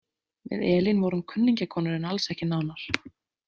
Við Elín vorum kunningjakonur en alls ekki nánar